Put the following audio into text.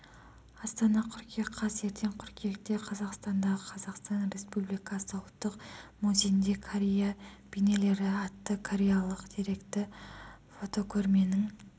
астана қыркүйек қаз ертең қыркүйекте қазақстандағы қазақстан республикасы ұлттық музейінде корея бейнелері атты кореялық деректі фотокөрменің